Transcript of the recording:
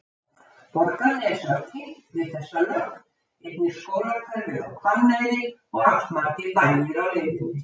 Borgarnes var tengt við þessa lögn, einnig skólahverfið á Hvanneyri og allmargir bæir á leiðinni.